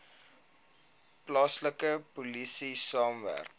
plaaslike polisie saamwerk